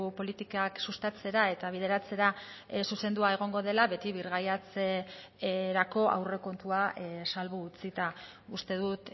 politikak sustatzera eta bideratzera zuzendua egongo dela beti birgaitzerako aurrekontua salbu utzita uste dut